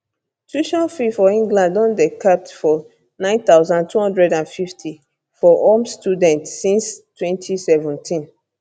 tuition fees for england don dey capped for 9250 for home students since 2017